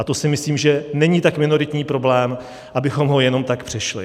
A to si myslím, že není tak minoritní problém, abychom ho jenom tak přešli.